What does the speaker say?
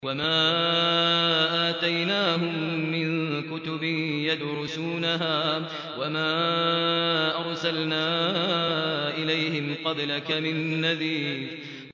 وَمَا آتَيْنَاهُم مِّن كُتُبٍ يَدْرُسُونَهَا ۖ وَمَا أَرْسَلْنَا إِلَيْهِمْ قَبْلَكَ مِن نَّذِيرٍ